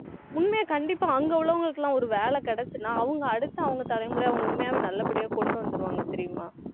உண்மையா கண்டிப்பா அங்க உள்ளவங்களுக்கு எல்லாம் ஒரு வேலை கிடைச்சுதுன்னா அவங்க அடுத்த அவங்க தலைமுறையை அவங்க உண்மையாவே நல்லபடியா கொண்டு வந்துருவாங்க தெரியுமா